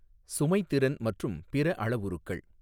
சுமை திறன் மற்றும் பிறஅளவுறுக்கள்.